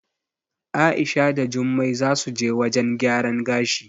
A'isha da Jummai zasu je wajen gyaran gashi.